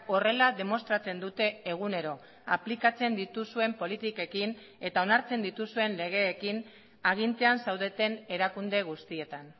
horrela demostratzen dute egunero aplikatzen dituzuen politikekin eta onartzen dituzuen legeekin agintean zaudeten erakunde guztietan